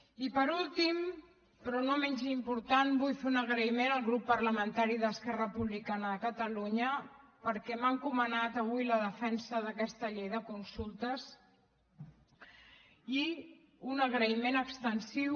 i per últim però no menys important vull fer un agraïment al grup parlamentari d’esquerra republicana de catalunya perquè m’ha encomanat avui la defensa d’aquesta llei de consultes i un agraïment extensiu